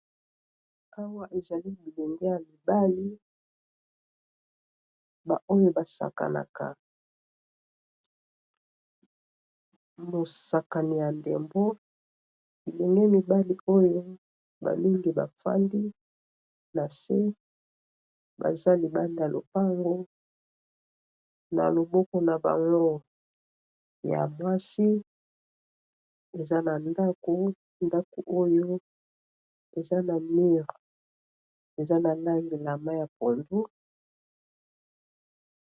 awa ezali bilinge ya mibali baoyo basakanaka mosakani ya ndembo bilinge mibali oyo bamingi bafandi na se baza libanda lopango na loboko na banon ya mwasi eza na ndako ndako oyo eza na mure eza na ndangi lama ya pondu